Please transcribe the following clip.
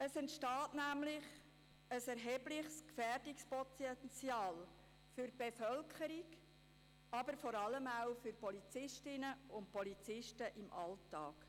Es entsteht nämlich ein erhebliches Gefährdungspotenzial für die Bevölkerung, vor allem für Polizistinnen und Polizisten im Alltag.